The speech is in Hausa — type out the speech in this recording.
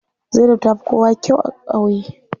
Zainab tafi kowa kyau a ƙauye.